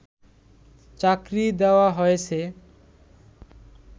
চাকরি দেওয়া হয়েছে